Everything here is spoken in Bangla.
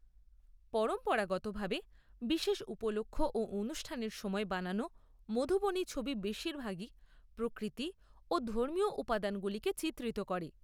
পরম্পরাগতভাবে বিশেষ উপলক্ষ ও অনুষ্ঠানের সময় বানানো মধুবনী ছবি বেশিরভাগই প্রকৃতি এবং ধর্মীয় উপাদানগুলিকে চিত্রিত করে।